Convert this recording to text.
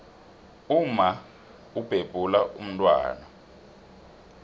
umma ubhebhula umntwana